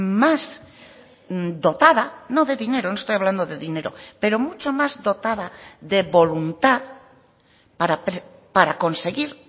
más dotada no de dinero no estoy hablando de dinero pero mucho más dotada de voluntad para conseguir